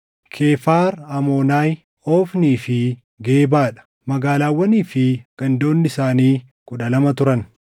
Kefar Aamoonaay, Ofnii fi Gebaa dha; magaalaawwanii fi gandoonni isaanii kudha lama turan.